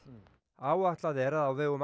áætlað er að á vegum